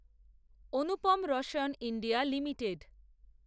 Anupam Rasayan India limited